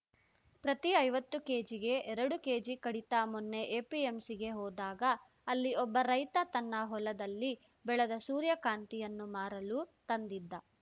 ಪ್ರತಿ ಐವತ್ತು ಕೇಜಿಗೆ ಎರಡು ಕೇಜಿ ಕಡಿತ ಮೊನ್ನೆ ಎಪಿಎಂಸಿಗೆ ಹೋದಾಗ ಅಲ್ಲಿ ಒಬ್ಬ ರೈತ ತನ್ನ ಹೊಲದಲ್ಲಿ ಬೆಳೆದ ಸೂರ್ಯಕಾಂತಿಯನ್ನು ಮಾರಲು ತಂದಿದ್ದ